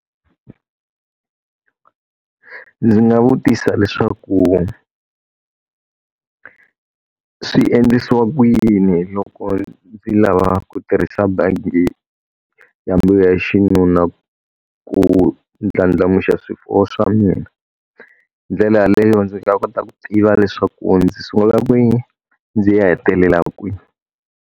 Ndzi nga vutisa leswaku swi endlisiwa ku yini loko ndzi lava ku tirhisa bangi ya mbewu ya xinuna ku ndlandlamuxa swifuwo swa mina. Hi ndlela yaleyo ndzi kota ku tiva leswaku ndzi sungula kwini, ndzi ya hetelelaka kwini.